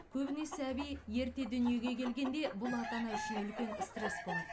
көбіне сәби ерте дүниеге келгенде бұл ата ана үшін үлкен стресс болады